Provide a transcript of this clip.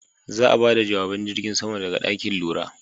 Za'a bada jawaban jirgin saman daga ɗakin lura.